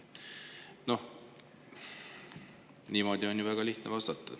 No niimoodi on ju väga lihtne vastata.